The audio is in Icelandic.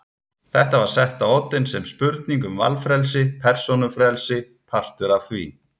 Þetta var sett á oddinn sem spurning um valfrelsi, persónufrelsi, partur af því.